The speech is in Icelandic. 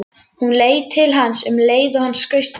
Hún leit til hans um leið og hann skaust framhjá.